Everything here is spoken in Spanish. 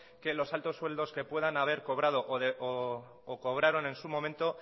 que los altos sueldos que puedan haber cobrado o cobraron en su momento